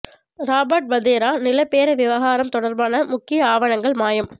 Robert Vadra நில பேர விவகாரம் தொடர்பான முக்கிய ஆவணங்கள் மாயம்